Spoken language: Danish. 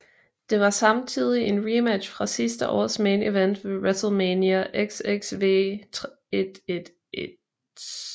Det var samtidig en rematch fra sidste års main event ved WrestleMania XXVIII